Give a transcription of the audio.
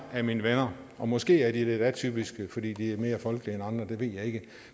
af mine venner og måske er de lidt atypiske fordi de er mere folkelige end andre det ved jeg ikke